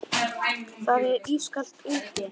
Það er ískalt úti.